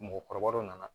Mɔgɔkɔrɔbaw dɔ nana